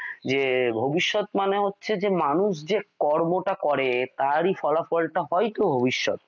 যে ভবিষ্যৎ মানে হচ্ছে যে মানুষ যে কর্ম টা করে তারই ফলাফল হয় ভবিষ্যৎ ।